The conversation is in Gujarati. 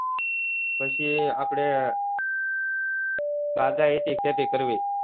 પછી આપડે બાગાયતી ખેતી કરવી